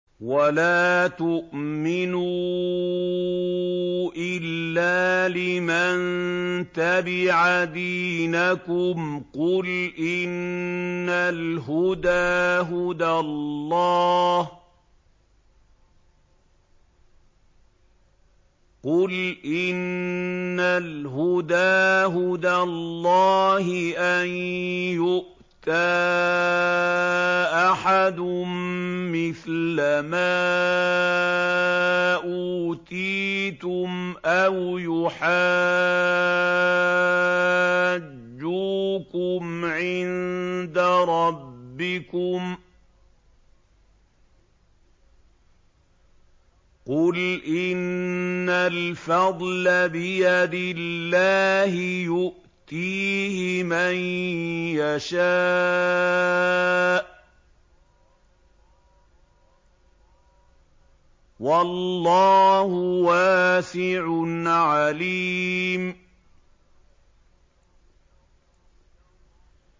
وَلَا تُؤْمِنُوا إِلَّا لِمَن تَبِعَ دِينَكُمْ قُلْ إِنَّ الْهُدَىٰ هُدَى اللَّهِ أَن يُؤْتَىٰ أَحَدٌ مِّثْلَ مَا أُوتِيتُمْ أَوْ يُحَاجُّوكُمْ عِندَ رَبِّكُمْ ۗ قُلْ إِنَّ الْفَضْلَ بِيَدِ اللَّهِ يُؤْتِيهِ مَن يَشَاءُ ۗ وَاللَّهُ وَاسِعٌ عَلِيمٌ